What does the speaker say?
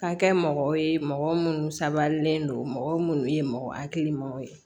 Ka kɛ mɔgɔw ye mɔgɔ munnu sabalilen don mɔgɔ minnu ye mɔgɔ hakilimaw ye